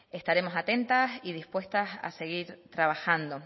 estaremos atentas y dispuestas a seguir trabajando